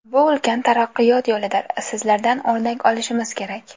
Bu ulkan taraqqiyot yo‘lidir, sizlardan o‘rnak olishimiz kerak.